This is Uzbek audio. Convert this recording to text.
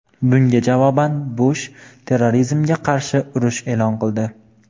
Bunga javoban Bush terrorizmga qarshi urush e’lon qildi.